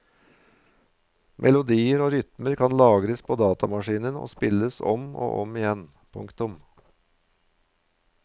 Melodier og rytmer kan lagres på datamaskinen og spilles om og om igjen. punktum